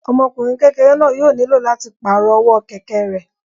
Ọmọkùnrin kékeré náà yóò nílò láti pàrọ̀ ọwọ́ kẹ̀kẹ́ rẹ̀